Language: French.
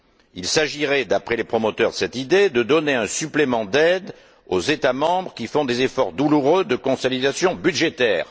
Il s'agirait, d'après les promoteurs de cette idée, de donner un supplément d'aide aux États membres qui font des efforts douloureux de consolidation budgétaire.